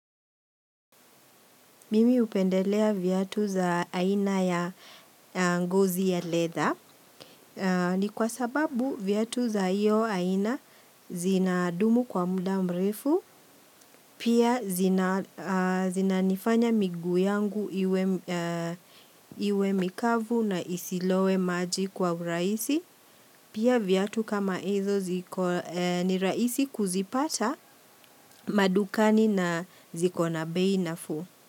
Mimi hupendelea viatu za aina ya ngozi ya leather ni kwa sababu viatu za iyo aina zinadumu kwa muda mrefu pia zinanifanya miguu yangu iwe mikavu na isilowe maji kwa uraisi pia viatu kama hizo ni rahisi kuzipata madukani na ziko na bei naafu.